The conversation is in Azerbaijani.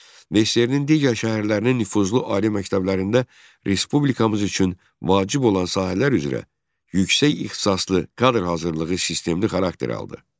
SSRİ-nin digər şəhərlərinin nüfuzlu ali məktəblərində Respublikamız üçün vacib olan sahələr üzrə yüksək ixtisaslı kadr hazırlığı sistemli xarakter aldı.